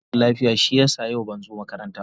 Na yi rashin lafiya shi ya sa ban zo makaranta ba.